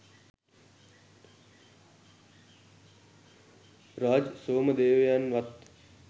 Raj සෝමදේවයන්වත්